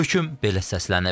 Hökm belə səslənib: